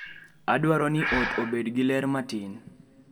Adwaro ni ot obed gi ler matin